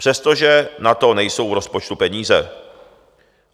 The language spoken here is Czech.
Přestože na to nejsou v rozpočtu peníze.